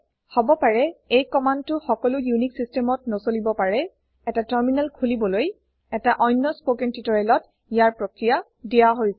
হব পাৰে এই কম্মান্দটো সকলো উনিশ systemত নচলিব পাৰে এটা টাৰ্মিনেল খোলিবলৈ এটা অন্য স্পকেন টিউটৰিয়েলত ইয়াৰ প্ৰক্ৰিয়া দিয়া হৈছে